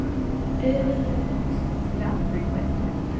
Auðlegð Íslendinga.